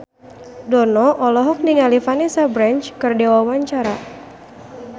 Dono olohok ningali Vanessa Branch keur diwawancara